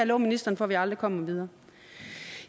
love ministeren for at vi aldrig kommer videre